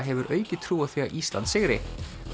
hefur aukið trú á því að Ísland sigri